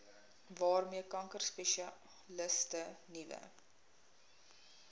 waarmee kankerspesialiste nuwe